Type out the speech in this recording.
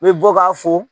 I bɛ bɔ k'a fo